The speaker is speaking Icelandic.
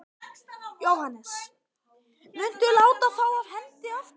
Jóhannes: Muntu láta þá af hendi aftur?